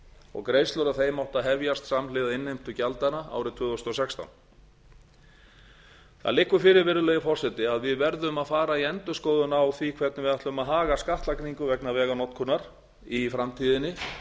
og greiðslur af þeim áttu að hefjast samhliða innheimtu gjaldanna árið tvö þúsund og sextán það liggur fyrir virðulegi forseti að við verðum að fara í endurskoðun á því hvernig við ætlum að haga skattlagningu vegna veganotkunar í framtíðinni